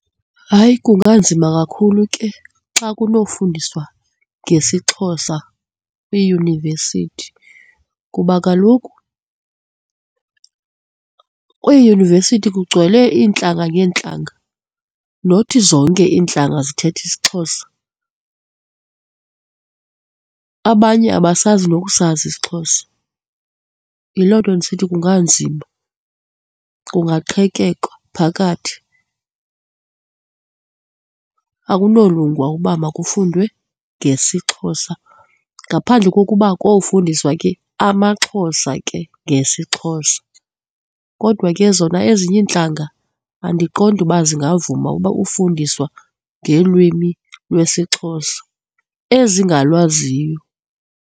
Hayi, kunganzima kakhulu ke xa kunofundiswa ngesiXhosa kwiiyunivesithi kuba kaloku kwiidyunivesithi kugcwele iintlanga ngeentlanga nothi zonke iintlanga zithetha isiXhosa. Abanye abasazi nokusazi isiXhosa. Yiloo nto ndisithi kunganzima kungaqhekekwa phakathi, akunolunga uba makafundwe ngesiXhosa ngaphandle kokuba kofundiswa ke amaXhosa ke ngesiXhosa kodwa ke zona ezinye iintlanga, andiqondi uba zingavuma uba, ufundiswa ngelwimi lwesiXhosa ezingalwaziyo.